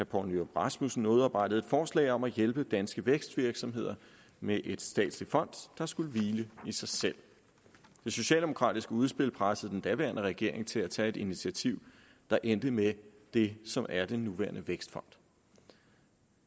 poul nyrup rasmussen udarbejdede forslag om at hjælpe danske vækstvirksomheder med et statsligt fond der skulle hvile i sig selv det socialdemokratiske udspil pressede den daværende regering til at tage et initiativ der endte med det som er den nuværende vækstfond